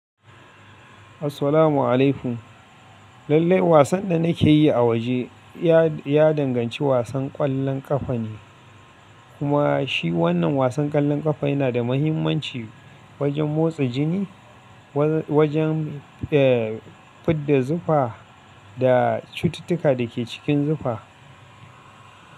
Assalamu alaikum. Lallai wasan da nake yi a waje, ya danganci wasan ƙwallon ƙafa ne, kuma shi wannan wasan ƙwallon ƙafa yana da mahimmanci wajen motsa jini, wajen fidda zufa da cututtuka da ke cikin zufa.